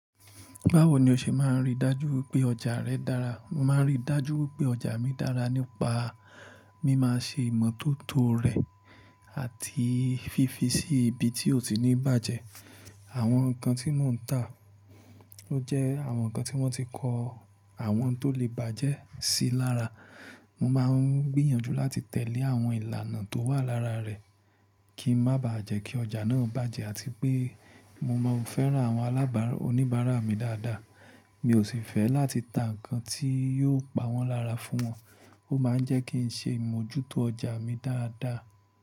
Báwo ni o ṣe máa ń rí dájú pé ọjà rẹ dára? Mo máa ń rí dájú pé ọjà mi dára nípa, mí máa ń ṣe ìmọ́tótó rẹ̀ àti fífi sí ibi tí ó ní bàjẹ́. Àwọn nǹkan tí mò ń tà, ó jẹ́ àwọn nǹkan tí wọ́n ti kọ́, àwọn tó lè bàjẹ́ sí lára. Mo máa ń gbìyànjú láti tẹ̀lé àwọn ìlànà tó wà lára rẹ̀ kí n má bà á jẹ́ kí ọjà náà bàjẹ́ àti pé mo máa ò fẹ́ rán àwọn alábàá oníbàárà mi dáadáa. Mi ò sì fẹ́ láti ta nǹkan tí yóò pa wọ́n lára fún wọn. Ó máa ń jẹ́ kí ń ṣe ìmójútó ọjà mi dáadáa.